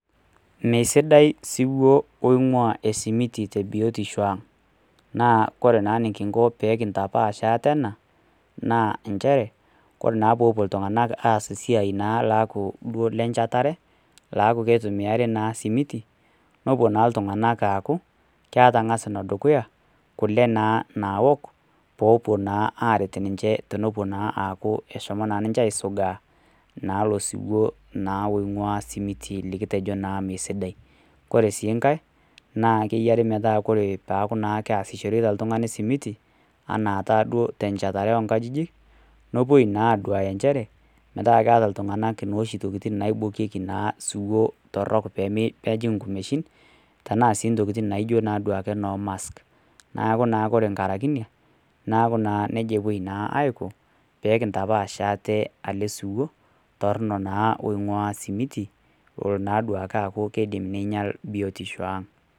Mee sidai osiwuo loing'ua esimiti te biotisho aang'. Naa ore naa eneking'o pee kintapaash aate ena, naa nchere, ore naa peepuo naa iltung'ana aas eiai naaku duo lenchetare, laaku keitumiari naa esimiti, nepuo naa iltung'anak aaku, keata ang'as naa ee dukuya, kule naa naok, peepuo naa aret ninye teneaku eshomo naa ninche aisugaa naa ilo siwuo naa loing'ua naa osimiti lekitejo naa mesidai. Ore sii enkai , naa keyiare naake metaa peaku naake keasishore oltung'ani osimiti, anaataduo tenchetare oo inkajijik, nepuoi naa aduaya inchere, tanaa keata naa iltung'ana nooshi tokitin naibokieki naa siwup torok pee mejing' inkumeshin, tanaa sii duo intokitin naijo noo mask. Neaku naa ore enkaraki ina, nekau naa neija epuoi naa aiko, pee kintapaash aate ele siwuo torono, naa oing'ua osimiti, lolo naa aaku keinyal naa biotisho aang'.